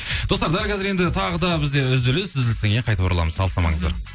достар дәл қазір енді тағы да бізде үзіліс үзілістен кейін қайтып ораламыз алыстамаңыздар